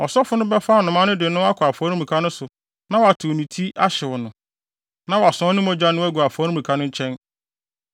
Ɔsɔfo no bɛfa anomaa no de no akɔ afɔremuka no so na watew ne ti ahyew no, na wasɔn ne mogya no agu afɔremuka no nkyɛn.